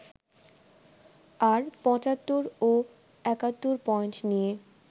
আর ৭৫ ও ৭১ পয়েন্ট নিয়ে